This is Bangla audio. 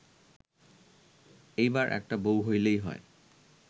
এইবার একটা বউ হইলেই হয়